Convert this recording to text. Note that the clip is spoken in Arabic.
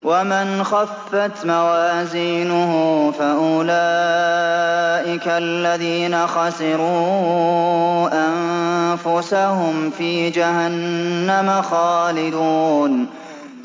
وَمَنْ خَفَّتْ مَوَازِينُهُ فَأُولَٰئِكَ الَّذِينَ خَسِرُوا أَنفُسَهُمْ فِي جَهَنَّمَ خَالِدُونَ